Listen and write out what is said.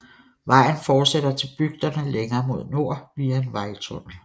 Vejen fortsætter til bygderne længere mod nord via en vejtunnel